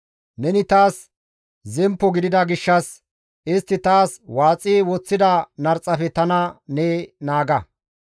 Neni taas zemppo gidiza gishshas, istti taas waaxi woththida narxafe tana ne naaga.